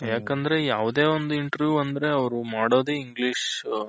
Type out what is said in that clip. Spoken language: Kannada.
ಯಾಕಂದ್ರೆ ಯಾವ್ದೆ ಒಂದು Interview ಅಂದ್ರೆ ಅವ್ರು ಮಾಡೋದೇ English